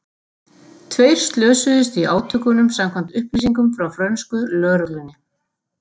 Tveir slösuðust í átökunum samkvæmt upplýsingum frá frönsku lögreglunni.